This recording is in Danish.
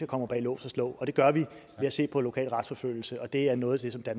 kommer bag lås og slå og det gør vi ved at se på lokal retsforfølgelse og det er noget af